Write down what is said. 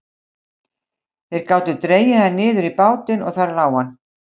Þeir gátu dregið hann niður í bátinn og þar lá hann.